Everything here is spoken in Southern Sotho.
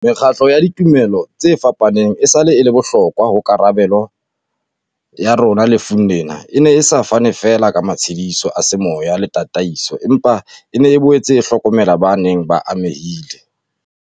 Mekgatlo ya ditumelo tse fapaneng esale e le bohlokwa ho karabelo ya rona lefung lena, e ne e sa fane feela ka matshediso a semoya le ta taiso, empa e ne e boetse e hlokomela ba neng ba amehile